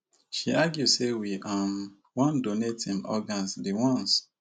she argue say we um wan donate him organs di ones